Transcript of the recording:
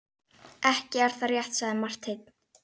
Ekki er það rétt, sagði Marteinn.